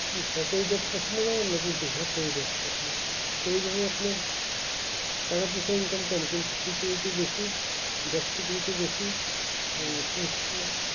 কি সরকারি job পছন্দ করেন না কি বেসরকারি job পছন্দ করেন এই যেমন আপনার টাকা পয়সা income করে security বেশি job security বেশি শেষে